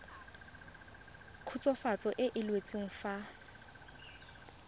khutswafatso e e laotsweng fa